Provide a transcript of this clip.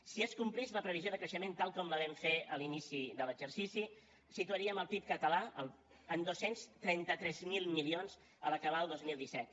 si es complís la previsió de creixement tal com la vam fer a l’inici de l’exercici situaríem el pib català en dos cents i trenta tres mil milions a l’acabar el dos mil disset